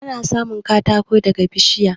Ana samun katako daga bishiya.